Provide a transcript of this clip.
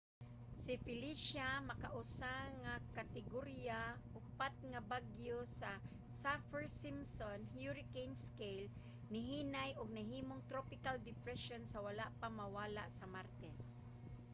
si felecia makausa nga kategorya 4 nga bagyo sa saffir-simpson hurricane scale nihinay ug nahimong tropical depression sa wala pa mawala sa martes